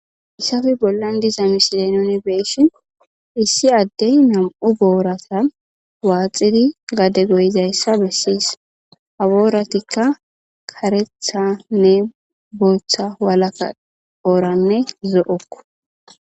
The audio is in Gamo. issafi bollan diza misile nuni beeshin issi addey nam7u boorata waaxidi gade goyizayssa bessis abooratikka karethanne bootha walaka ooranne zo7okko